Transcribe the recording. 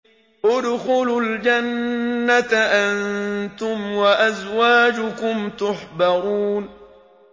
ادْخُلُوا الْجَنَّةَ أَنتُمْ وَأَزْوَاجُكُمْ تُحْبَرُونَ